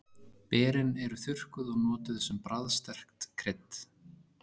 Berin eru þurrkuð og notuð sem bragðsterkt krydd.